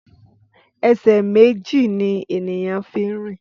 Ẹsẹ méjì ni ènìyàn fín rìn